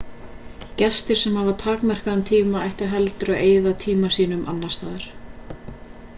gestir sem hafa takmarkaðan tíma ættu heldur að eyða tíma sínum annars staðar